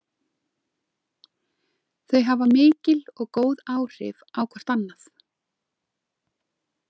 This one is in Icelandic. Þau hafa mikil og góð áhrif hvort á annað.